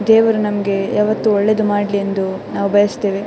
ದೇವರು ನಮ್ಗೆ ಯಾವತ್ತೂ ಒಳ್ಳೇದು ಮಾಡ್ಲಿ ಎಂದು ನಾವು ಬಯಸುತ್ತೇವೆ.